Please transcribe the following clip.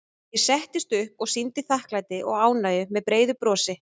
Ég settist upp og sýndi þakklæti og ánægju með breiðu brosi.